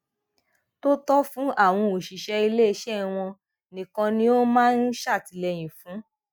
tó tọ fún àwọn òṣìṣẹ ilé iṣẹ wọn nìkan ni ó máa ń ṣètìlẹyìn fún